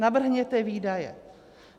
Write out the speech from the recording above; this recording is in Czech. Navrhněte výdaje.